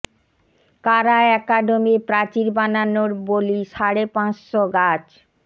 কারা একাডেমির প্রাচীর বানানোর বলি সাড়ে পাঁচ শ গাছ